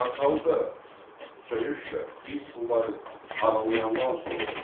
Baxalda söyüşlər biz bunları aralayandan sonra oldu.